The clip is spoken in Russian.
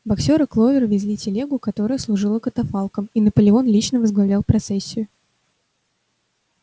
боксёр и кловер везли телегу которая служила катафалком и наполеон лично возглавлял процессию